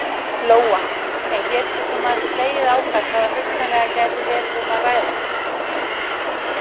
Lóa: En geturðu svona slegið á það hvað hugsanlega gæti verið um að ræða?